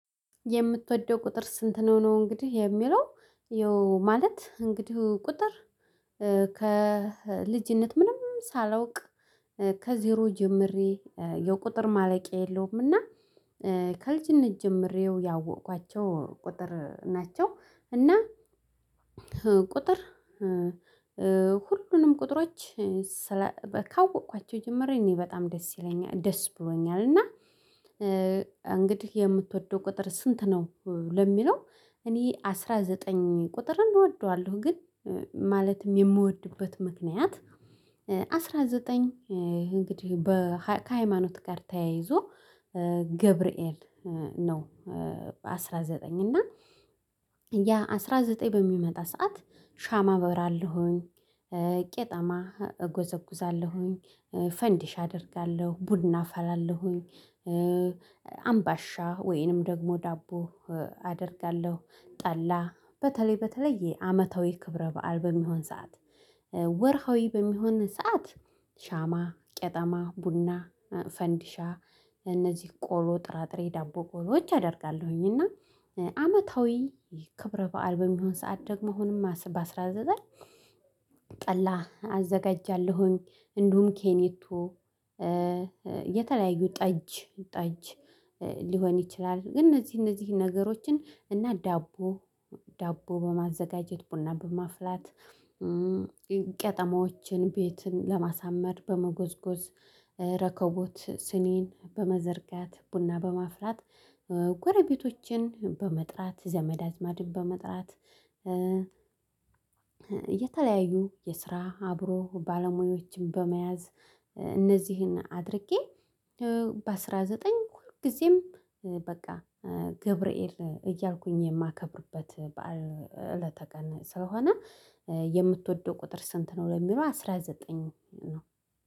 የምትወደው ቁጥር ስንት ነው? እንግዲህ የሚለው ያው ማለት እንግዲህ ቁጥር ከልጅነት ምንም ሳላውቅ ከዜሮ ጀምሬ የቁጥር ማለቂያ የለውም። እና ከልጅነት ጀምሬው ያወቅኳቸው ቁጥር ናቸው። እና ቁጥር ሁሉንም ቁጥሮች ካወቅኳቸው ጀምሬ እኔ በጣም ደስ ይለኛል ደስ ብሎኛል። እና እንግዲህ የምትወደው ቁጥር ስንት ነው ለሚለው እኔ አስራ ዘጠኝ ቁጥር እወደዋለሁ። ግን ማለትም የምወድበት ምክንያት አስራ ዘጠኝ እንግዲህ በ ከሃይማኖት ጋር ተያይዞ ገብርኤል ነው። አስራ ዘጠኝ እና ያ አስራ ዘጠኝ በሚመጣ ሰዓት ሻማ አበራለሁኝ ቄጠማ እጎዘጉዛለሁኝ ፈንዲሻ አደርጋለሁ ቡና አፈላለሁኝ። አምባሻ ወይንም ደግሞ ዳቦ አደርጋለሁ ጠላ በተለይ በተለየ አመታዊ ክብረ በዓል በሚሆን ሰዓት ወርሃዊ በሚሆን ሰዓት ሻማ ቄጠማ ቡና ፈንዲሻ እነዚህ ቆሎ ጥራጥሬ ዳቦ ቆሎዎች አደርጋለሁኝ። እና አመታዊ ክብረ በዓል በሚሆን ሰዓት ደግሞ አሁንም በአስራ ዘጠኝ ጠላ አዘጋጃለሁኝ። እንዲሁም ኬኔቶ የተለያዩ ጠጅ ጠጅ ሊሆን ይችላል። ግን እነዚህ እነዚህ ነገሮችን እና ዳቦ ዳቦ በማዘጋጀት ቡና በማፍላት ቄጠማዎችን ቤትን ለማሳመር በመጎዝጎዝ ረከቦት ሲኒን በመዘርጋት ቡና በማፍላት ጎረቤቶችን በመጥራት ዘመድ አዝማድን በመጥራት የተለያዩ የስራ አብሮ ባለሙያዎችን በመያዝ እነዚህን አድርጌ በ አስራ ዘጠኝ ሁልጊዜም በቃ ገብርኤል እያልኩኝ የማከብርበት በዓል እለተ ቀን ስለሆነ። የምትወደው ቁጥር ስንት ነው ለሚለው አስራ ዘጠኝ ነው።